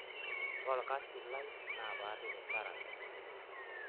Ore olkasi lai naa paarip inkera aitobiraki.